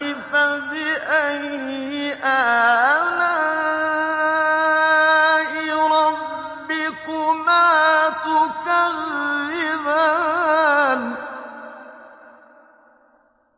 فَبِأَيِّ آلَاءِ رَبِّكُمَا تُكَذِّبَانِ